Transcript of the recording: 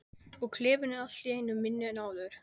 Og klefinn er allt í einu minni en áður.